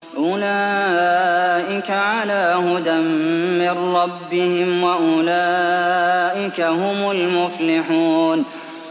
أُولَٰئِكَ عَلَىٰ هُدًى مِّن رَّبِّهِمْ ۖ وَأُولَٰئِكَ هُمُ الْمُفْلِحُونَ